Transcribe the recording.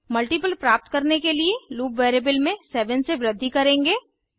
multiple प्राप्त करने के लिए लूप वेरिएबल में 7 से वृद्धि करेंगे